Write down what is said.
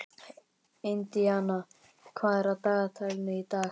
Indiana, hvað er á dagatalinu í dag?